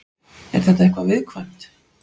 Er þetta eitthvað viðkvæmt?